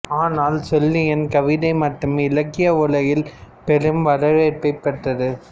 ஆனால் ஷெல்லியின் கவிதை மட்டும் இலக்கிய உலகில் பெரும் வரவேற்பைப் பெற்றது